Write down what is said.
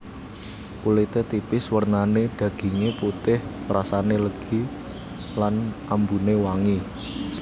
Kulite tipis wernane daginge putih rasane legi lan ambune wangi